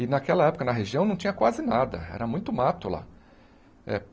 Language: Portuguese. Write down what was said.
E naquela época, na região, não tinha quase nada, era muito mato lá. Eh